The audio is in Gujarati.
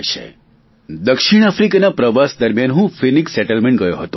મને દક્ષિણ આફ્રીકાના પ્રવાસ દરમિયાન હું ફિનિક્સ સેટલમેન્ટ ગયો હતો